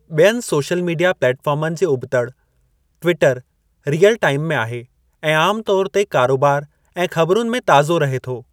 ॿियनि social media प्लेटफ़ॉर्मनि जे उबि॒तड़ ,टविटर रीअल टाइम में आहे ऐं आमु तौर ते कारोबार ऐं ख़बरुनि में ताज़ो रहे थो।